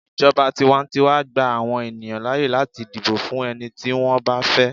ijoba tiwantiwa gba àwọn ènìyàn láyè láti dibo fún ẹni tí wan ba fẹ